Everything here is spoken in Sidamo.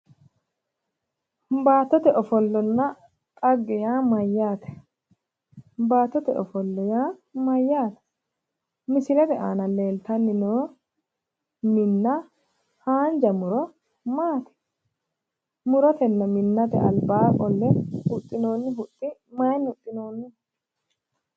Baattote ofollanna dhagge yaa mayyaate? Baattote ofolla yaa mayyaate? Misilete aana leellanni noo minna haanja muro maati? Murote minnate albaa qolle huxxinoonni huxxi mayinni huxxinoonniho?